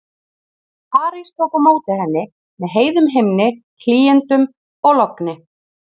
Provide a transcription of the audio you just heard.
París tók á móti henni með heiðum himni, hlýindum og logni.